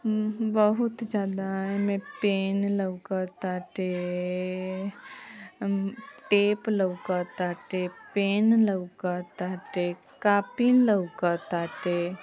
बहुत ज्यादा एमें पेन लउकतआटे टेप लउकत आटे पेन लउकतआटे कॉपी लउकत आटे।